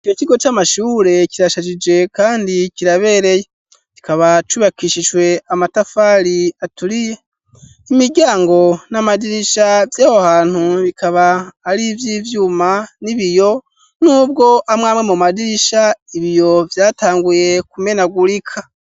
Ico kigo c'amashure, kirashajije, kandi kirabereye; kikaba cubakishijwe, amatafari aturiye; imiryango n'amadirisha, vy'aho hantu, bikaba ari ivy'ivyuma, n'ibiyo, n'ubwo, amwe amwe mu madirisha, ibiyo vyatanguye, kumenagurika.